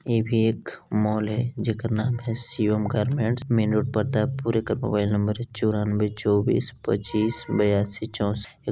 ये भी एक मॉल है जेकर नाम है Shivam garments main road Pratappur एकर मोबाइल नंबर है चौरानवे चौबीस पच्चीस ब्यासी चौसट--